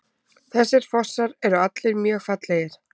Þessir fossar eru allir mjög fallegir.